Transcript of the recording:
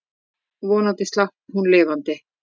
Vonandi slapp hún lifandi.